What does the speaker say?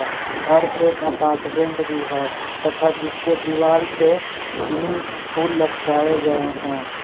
और एक अपार्टमेंट भी है तथा जिसके दीवार पे तीन फूल लटकाए गए हैं।